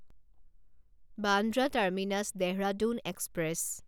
Bandra terminus Dehradun express